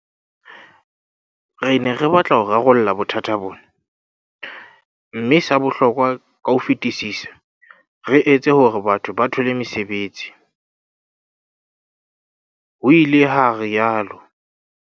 "Re ne re batla ho rarolla bothata bona, mme sa bohlokwa ka ho fetisisa, re etse hore batho ba thole mesebetsi," ho ile ha rialo